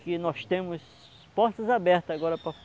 Que nós temos portas abertas agora para...